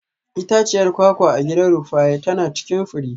Itaciyar kwakwa a gidan Rufaye tana cikin fure.